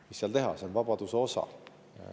Mis seal teha, see on vabaduse osa.